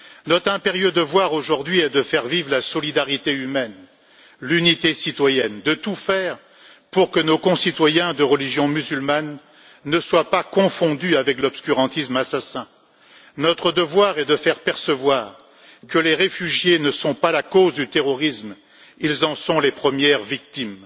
Notre impérieux devoir, aujourd'hui, est de faire vivre la solidarité humaine, l'unité citoyenne, de tout faire pour que nos concitoyens de religion musulmane ne soient pas confondus avec l'obscurantisme assassin. Notre devoir est de faire percevoir que les réfugiés ne sont pas la cause du terrorisme, mais qu'ils en sont les premières victimes.